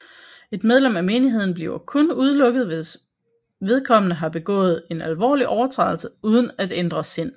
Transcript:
Et medlem af menigheden bliver kun udelukket hvis vedkommende har begået en alvorlig overtrædelse uden at ændre sind